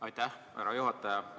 Aitäh, härra juhataja!